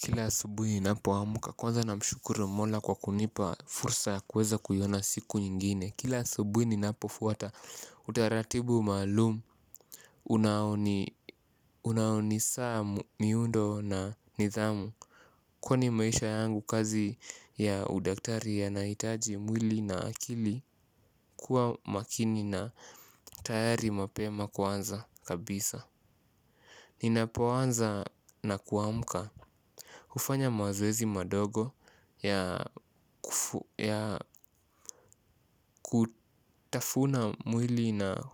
Kila asubuhi ni napo amuka kwanza na mshukuru mola kwa kunipa fursa kweza kuyona siku nyingine. Kila subuhi ni napo fuwata utaratibu malumu. Unaoni saa miundo na nithamu. Kwani maisha yangu kazi ya udaktari yanaitaji mwili na akili. Kuwa makini na tayari mapema kwanza kabisa. Ninapo anza na kuamuka hufanya mazoezi madogo ya kutafuna mwili na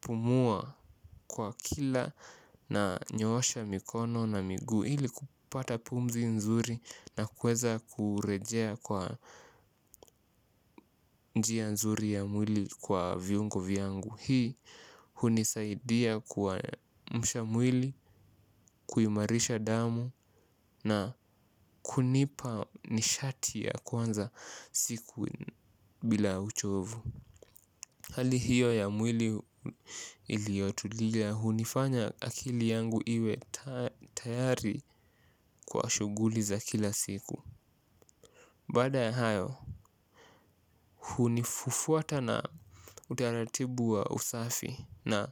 pumua kwa kila nanyosha mikono na migu. Hili kupata pumzi nzuri na kweza kurejea kwa njia nzuri ya mwili kwa viungo viangu. Hii hunisaidia kwa mshamwili kuyimarisha damu na kunipa nishati ya kwanza siku bila uchovu. Hali hiyo ya mwili iliotulia hunifanya akili yangu iwe tayari kwa shuguli za kila siku. Bada ya hayo, hunifufuata na utaratibu wa usafi na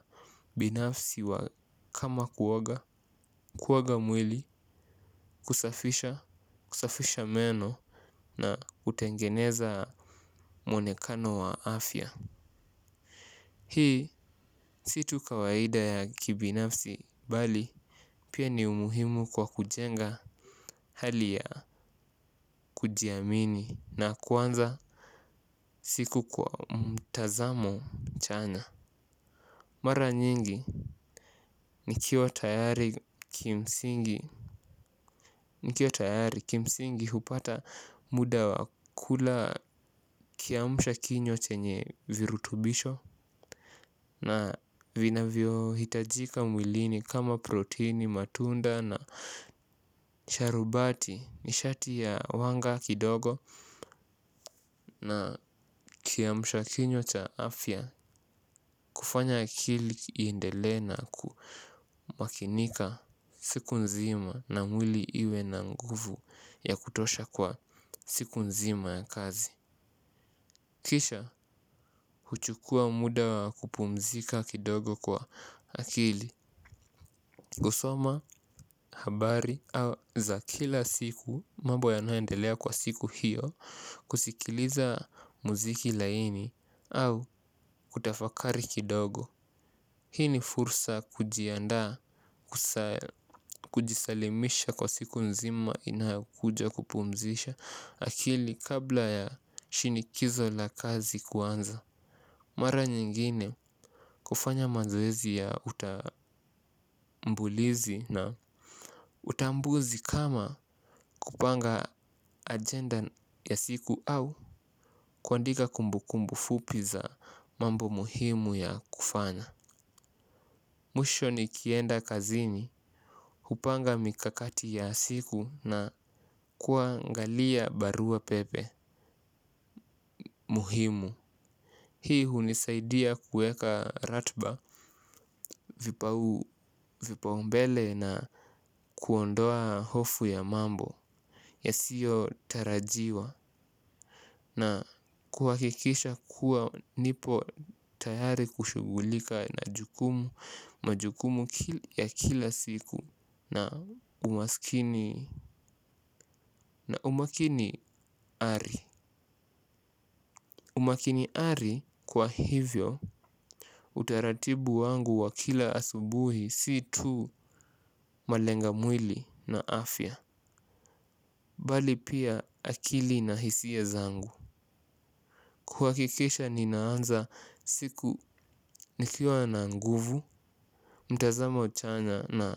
binafsi wa kama kuwoga, kuwoga mwili, kusafisha, kusafisha meno na utengeneza mwonekano wa afya. Hii situ kawaida ya kibinafsi bali pia ni umuhimu kwa kujenga hali ya kujiamini na kwanza siku kwa mtazamo chanya. Mara nyingi nikiwa tayari kimsingi hupata muda wakula kiamusha kinywa chenye virutubisho na vinavio hitajika mwilini kama protini matunda na sharubati nishati ya uwanga kidogo. Na kiamshakinyua cha afya kufanya akili iindelena kumakinika siku nzima na mwili iwe na nguvu ya kutosha kwa siku nzima ya kazi. Kisha huchukua muda wa kupumzika kidogo kwa akili kusoma habari za kila siku mambo yanayo endelea kwa siku hiyo kusikiliza muziki laini au kutafakari kidogo. Hii ni fursa kujisalimisha kwa siku nzima inakuja kupumzisha akili kabla ya shinikizo la kazi kuanza mara nyingine kufanya mazoezi ya utambulizi na utambuzi kama kupanga ajenda ya siku au kuandika kumbukumbu fupi za mambo muhimu ya kufanya. Muisho ni kienda kazini, kupanga mikakati ya siku na kuangalia barua pepe muhimu. Hii hunisaidia kuweka ratiba vipaumbele na kuondoa hofu ya mambo yasiyotarajiwa na kuhakikisha kuwa nipo tayari kushugulika na jukumu majukumu ya kila siku na umaskini ma umakini ari. Umakini ari kwa hivyo utaratibu wangu wa kila asubuhi si tu malenga mwili na afya bali pia akili na hisia zangu. Kuhakikisha ninaanza siku nikiwa na nguvu mtazamo chanya na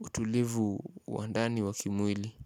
utulivu wa ndani wa kimwili.